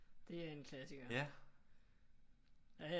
Det er en klassiker